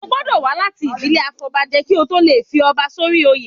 O gbọ́dọ̀ wá láti ìdílé afọbajẹ kí o tó lè fi ọba sórí oyè.